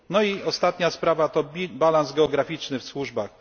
No i ostatnia sprawa to balans geograficzny w służbach.